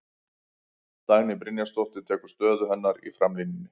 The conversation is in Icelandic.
Dagný Brynjarsdóttir tekur stöðu hennar í framlínunni.